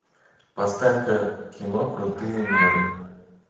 поставь ка кино крутые меры